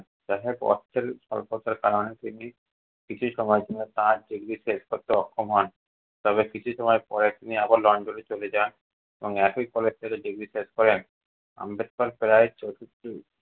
অর্থের স্বল্পতার কারণে তিনি কিছু সময়ের জন্য তার degree শেষ করতে অক্ষম হন, তবে কিছু সময় পরে তিনি আবার লন্ডনে চলে যান এবং একই college থেকে degree শেষ করেন। আম্বেদকর প্রায়